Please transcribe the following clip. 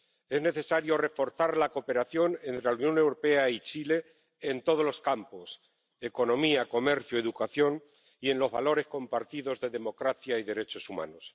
Es necesario reforzar la cooperación entre la Unión Europea y Chile en todos los campos economía, comercio, educación y en los valores compartidos de democracia y derechos humanos.